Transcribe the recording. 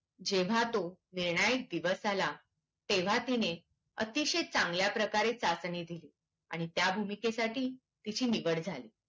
जेव्हा तो निर्णायक दिवस आला तेव्हा तिने अतिशय चांगल्या प्रकारे चाचणी दिली आणि त्या भूमिकेसाठी तिची निवड झाली